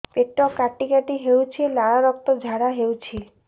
ପେଟ କାଟି କାଟି ହେଉଛି ଲାଳ ରକ୍ତ ଝାଡା ହେଉଛି